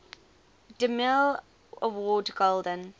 demille award golden